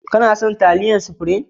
Kana son taliyar supirim?